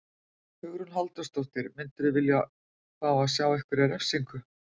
Hugrún Halldórsdóttir: Myndirðu vilja fá að sjá einhverja refsingu?